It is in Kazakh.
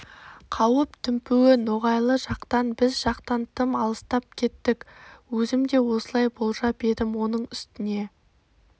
қауіп дүмпуі ноғайлы жақтан біз жақтан тым алыстап кеттік өзім де осылай болжап едім оның үстіне